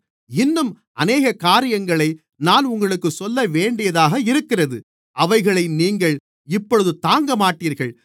இன்னும் அநேக காரியங்களை நான் உங்களுக்குச் சொல்லவேண்டியதாக இருக்கிறது அவைகளை நீங்கள் இப்பொழுது தாங்கமாட்டீர்கள்